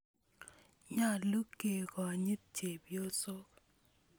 Nyalu ke konyit chepyosok